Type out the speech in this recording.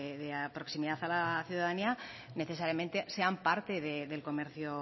de proximidad a la ciudadanía necesariamente sean parte del comercio